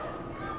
Allah!